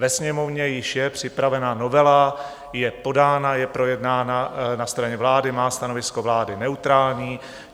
Ve Sněmovně již je připravena novela, je podána, je projednána na straně vlády, má stanovisko vlády neutrální.